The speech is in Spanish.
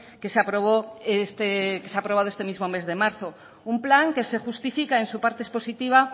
que se aprobó este mismo mes de marzo un plan que se justifica en su parte expositiva